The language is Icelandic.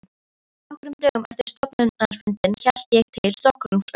Nokkrum dögum eftir stofnfundinn hélt ég til Stokkhólms og hitti